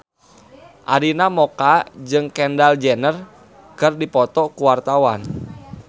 Arina Mocca jeung Kendall Jenner keur dipoto ku wartawan